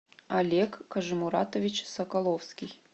олег кажимуратович соколовский